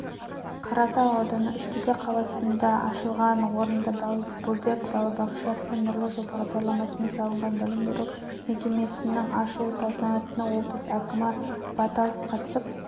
қаратал ауданы үштөбе қаласында ашылған орынды балбөбек балабақшасы нұрлы жол бағдарламасымен салынған білім беру мекемесінің ашылу салтанатына облыс әкімі баталов қатысып